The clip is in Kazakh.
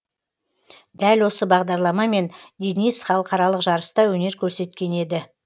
дәл осы бағдарламамен денис халықаралық жарыста өнер көрсеткен еді